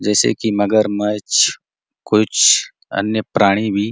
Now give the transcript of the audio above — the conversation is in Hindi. जैसे की मगरमछ कुछ अन्य प्रांणी भी --